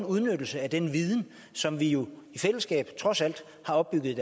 udnyttelse af den viden som vi jo trods alt har opbygget